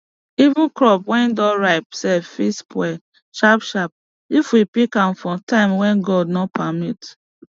even crop wey don ripe sef fit spoil sharpsharp if we pick am for time wey god no permit